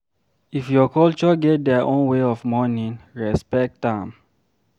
If your culture get their own way of mourning, respect am